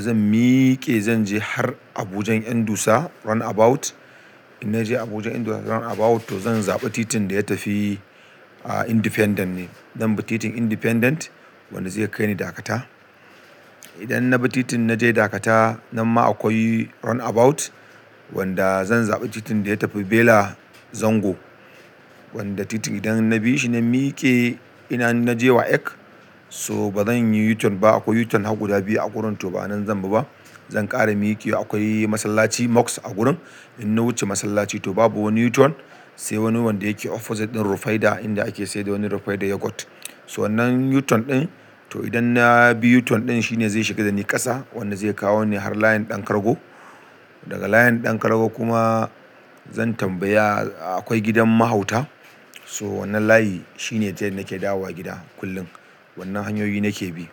zan mike zan je har Abujan yan dusa round about. In na je Abujan yan dusa round about to zan zaɓi titin da ya tafi Independent ne. Dan ba titin Independent wanda zai kai ni Dakata. Idan na bi titin na je Dakata, nan ma akwai round about wanda zan zaɓi titin da ya tafi Bela Zango. Wanda titin idan na bi shi na mike ina na je wayek so bazan yi u-turn ba. Akwai u-turn har guda biyu a gurin to ba nan zan bi ba. Zan ƙara mike akwai masallaci Mosque a gurin in na wuce masallaci to babu wani u-turn sai wani wanda yake opposite din Rufaidah inda ake saida wani Rufaidah yogurt. So wannan u-turn din to idan na bi u-turn din shine zai shiga da ni ƙasa wanda zai kawo ni har layin Ɗan Kargo. Daga layin Ɗan Kargo kuma zan tambaya akwai gidan mahauta, so wannan layi shine tayen nake dawowa gida kullum. Wannan hanyoyi nake bi.